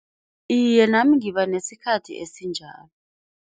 Iye nami ngiba nesikhathi esinjalo.